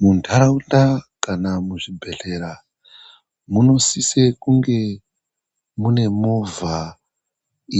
Muntaraunda kana muzvibhedhlera munosisa kunge mune movha